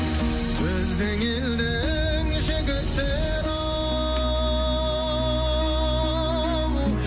біздің елдің жігіттері ау